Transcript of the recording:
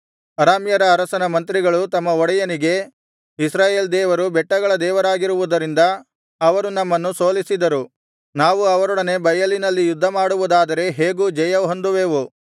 ಅರಾಮ್ಯರ ಅರಸನ ಮಂತ್ರಿಗಳು ತಮ್ಮ ಒಡೆಯನಿಗೆ ಇಸ್ರಾಯೇಲ್ ದೇವರು ಬೆಟ್ಟಗಳ ದೇವರಾಗಿರುವುದರಿಂದ ಅವರು ನಮ್ಮನ್ನು ಸೋಲಿಸಿದರು ನಾವು ಅವರೊಡನೆ ಬಯಲಿನಲ್ಲಿ ಯುದ್ಧಮಾಡುವುದಾದರೆ ಹೇಗೂ ಜಯಹೊಂದುವೆವು